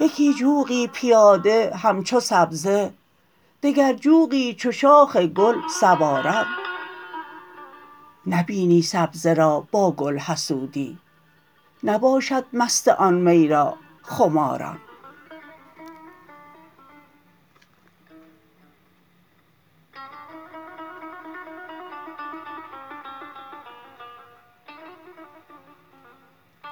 یکی جوقی پیاده همچو سبزه دگر جوقی چو شاخ گل سواران نبینی سبزه را با گل حسودی نباشد مست آن می را خماران